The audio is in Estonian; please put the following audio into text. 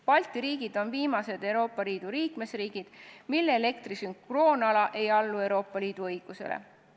Balti riigid on viimased Euroopa Liidu liikmesriigid, mille sünkroonala ei allu Euroopa Liidu õigusele.